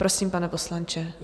Prosím, pane poslanče.